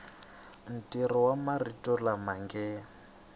ntirho wa marito lama nge